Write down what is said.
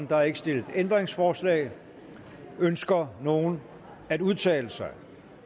der er ikke stillet ændringsforslag ønsker nogen at udtale sig